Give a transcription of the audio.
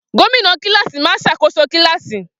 Gómìnà kílààsì máa ń ṣàkóso kílààsì